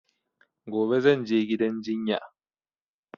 Gobe zan je gidan jinya